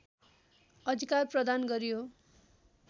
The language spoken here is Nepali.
अधिकार प्रदान गरियो